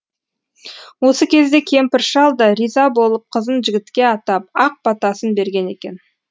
осы кезде кемпір шал да риза болып қызын жігітке атап ақ батасын берген екен